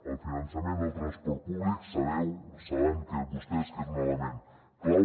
el finançament del transport públic sabeu saben vostès que és un element clau